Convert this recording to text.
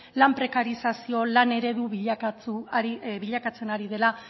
lan prekarizazio lan eredu bilakatzen ari dela